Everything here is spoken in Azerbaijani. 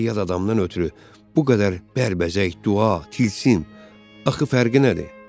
Bir yad adamdan ötrü bu qədər bərbəzək, dua, tilsim, axı fərqi nədir?